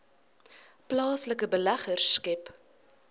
plaaslike beleggers skep